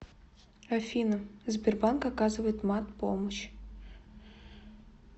афина сбербанк оказывает мат помощь